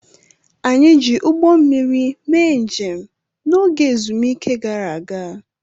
Anyị ji ụgbọ mmiri mee njem n'oge ezumike gara aga.